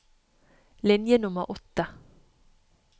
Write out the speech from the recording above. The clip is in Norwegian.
Linje nummer åtte